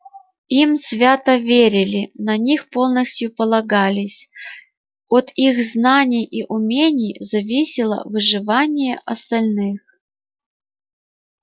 им свято верили на них полностью полагались от их знаний и умений зависело выживание остальных